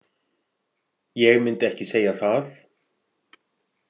Ég myndi ekki segja það.